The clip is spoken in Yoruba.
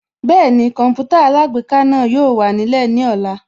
Bẹ́ẹ̀ni Kọǹpútà alágbèéká náà yóò wà nílẹ̀ ní ọ̀la